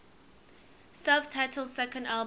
self titled second album